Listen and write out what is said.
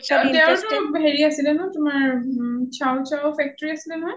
তেওঁ টো হেৰি আছিলে ন তোমাৰ chow chow factory আছিলে নহয়